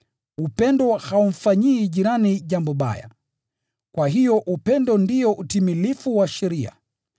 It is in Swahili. Upendo haumfanyii jirani jambo baya. Kwa hiyo upendo ndio utimilifu wa sheria.